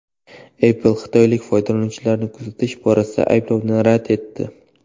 Apple xitoylik foydalanuvchilarni kuzatish borasidagi ayblovni rad etdi.